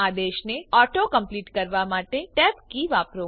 આદેશને auto complete કરવા માટે ટેબ કી વાપરો